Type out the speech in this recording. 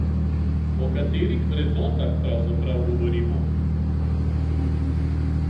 O katerih vrednotah pravzaprav govorimo?